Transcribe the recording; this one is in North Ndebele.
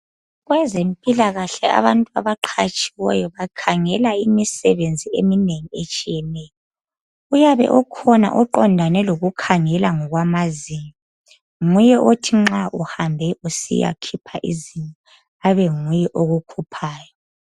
Kwezempilakahle abantu abaqhatshiweyo bakhangela imisebenzi eminengi etshiyeneyo. Uyabe ekhona oqandane lokukhangela ngokwamazinyo nguye othi nxa uhambe usiyakhipha izinyo abe nguye okukhuphayo.